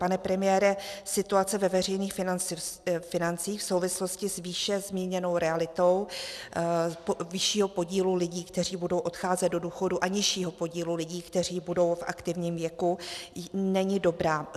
Pane premiére, situace ve veřejných financích v souvislosti s výše zmíněnou realitou vyššího podílu lidí, kteří budou odcházet do důchodu, a nižšího podílu lidí, kteří budou v aktivním věku, není dobrá.